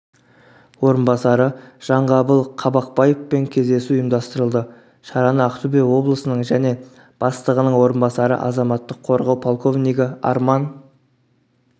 орынбасары жанғабыл қабақбаевпен кездесу ұйымдастырылды шараны ақтөбе облысының және бастығының орынбасары азаматтық қорғау полковнигі арман